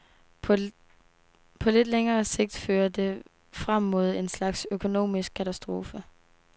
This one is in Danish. På lidt længere sigt fører det frem mod en slags økonomisk katastrofe.